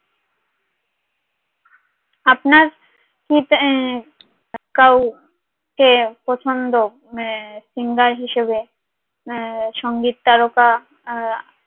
আপনার কি কাউকে পছন্দ হ্যাঁ singer হিসাবে সংগীত তারকা